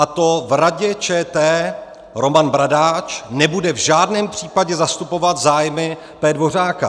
A to - v Radě ČT Roman Bradáč nebude v žádném případě zastupovat zájmy P. Dvořáka.